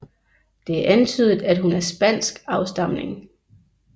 Det er antydet at hun er af spansk afstamning